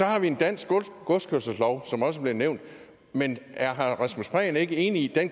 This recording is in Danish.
har vi en dansk godskørselslov som også blev nævnt men er herre rasmus prehn ikke enig i at